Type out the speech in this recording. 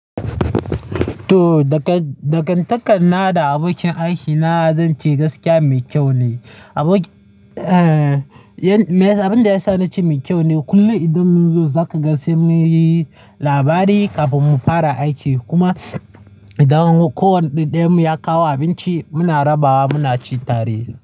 To, dakantakar na da abokin aiki na, zan ce gaskiya mai kyau ne. Abin da yasa na ce mai kyau ne, kullum idan mun zo za ka ga sai mun yi labari kafin mu fara aiki. Kuma idan ko wanda ɗaya mu ya kawo abinci, muna rabawa muna ci tare.